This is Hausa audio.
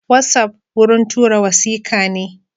Watsapp wurin tura wasikane.